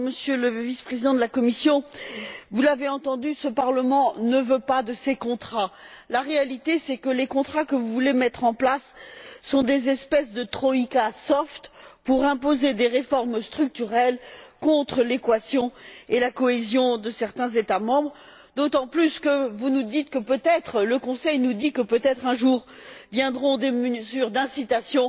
Monsieur le Président, Monsieur le Vice président de la Commission, vous l'avez entendu, ce Parlement ne veut pas de ces contrats. La réalité, c'est que les contrats que vous voulez mettre en place sont des espèces de troïka pour imposer des réformes structurelles contre l'équation et la cohésion de certains États membres, d'autant plus que vous nous dites que, peut être le Conseil nous dit que peut être un jour, viendront des mesures d'incitation.